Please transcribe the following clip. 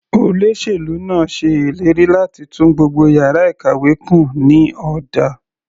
Olóṣèlú náà ṣe ìlérí láti tún gbogbo yàrá ìkàwé kùn ní ọ̀dà.